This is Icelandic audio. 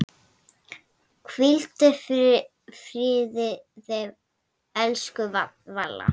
Hvíldu í friði, elsku Valla.